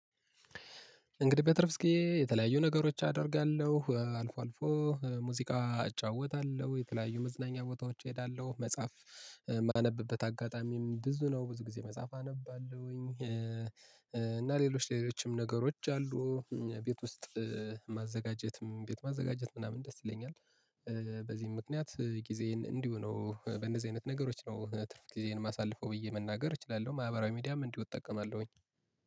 እንግዲህ በትርፍ ግዜ የተለያዩ ነገሮች አደርጋለሁ አልፎ አልፎ ሙዚቃ እጫወታለሁ የተለያዩ መዝናኛ ቦታዎች እሄዳለሁ መጽሐፍ የማነብበት አጋጣሚም ብዙ ነው ብዙ ጊዜ መጽሐፍ አነባለሁኝ እና ሌሎች ሌሎችም ነገሮች አሉ። ቤት ውስጥ ማዘጋጀትም ቤት ማዘጋጀት ምናምን ደስ ይለኛል። በዚህም ምክንያት ጊዜዬን እንዲሁ ነው በነዚህ አይነት ነገሮች ነው ትርፍ ጊዜን ማሳለፈው ብዬ መናገር እችላለሁ። ማህበራዊ ሚዲያም እንዲሁ እጠቀማለሁኝ።